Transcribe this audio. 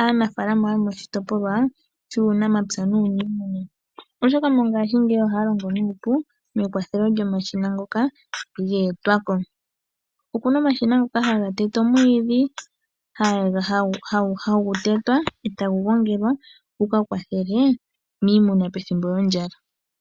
aanafalama yomoshitopolwa shuunamapya nuunimuna, oshoka mongashingeyi ohaya longo nuupu mekwathelo lyomashina ngoka geetwa ko. Okuna omashina ngoka haga tete omwiidhi, hagu tetwa etagu gongelwa gu ka kwathele miimuna pethimbo lyondjala.